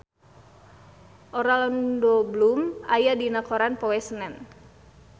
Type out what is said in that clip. Orlando Bloom aya dina koran poe Senen